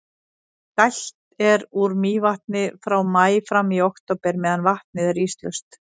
dælt er úr mývatni frá maí fram í október meðan vatnið er íslaust